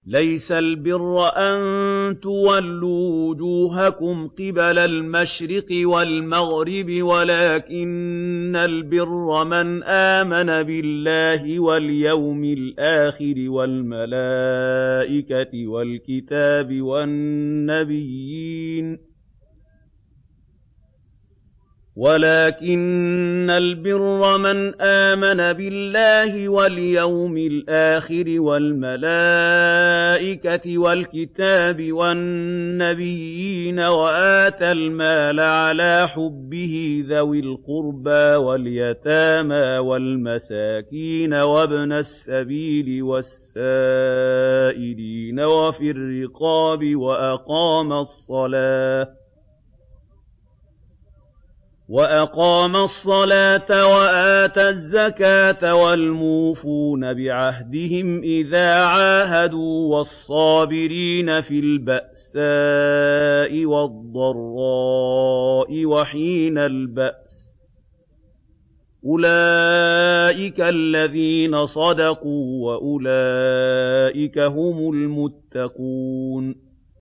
۞ لَّيْسَ الْبِرَّ أَن تُوَلُّوا وُجُوهَكُمْ قِبَلَ الْمَشْرِقِ وَالْمَغْرِبِ وَلَٰكِنَّ الْبِرَّ مَنْ آمَنَ بِاللَّهِ وَالْيَوْمِ الْآخِرِ وَالْمَلَائِكَةِ وَالْكِتَابِ وَالنَّبِيِّينَ وَآتَى الْمَالَ عَلَىٰ حُبِّهِ ذَوِي الْقُرْبَىٰ وَالْيَتَامَىٰ وَالْمَسَاكِينَ وَابْنَ السَّبِيلِ وَالسَّائِلِينَ وَفِي الرِّقَابِ وَأَقَامَ الصَّلَاةَ وَآتَى الزَّكَاةَ وَالْمُوفُونَ بِعَهْدِهِمْ إِذَا عَاهَدُوا ۖ وَالصَّابِرِينَ فِي الْبَأْسَاءِ وَالضَّرَّاءِ وَحِينَ الْبَأْسِ ۗ أُولَٰئِكَ الَّذِينَ صَدَقُوا ۖ وَأُولَٰئِكَ هُمُ الْمُتَّقُونَ